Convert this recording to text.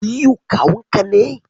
Aliyu kawun ki ne?